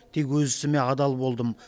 тек өз ісіме адал болдым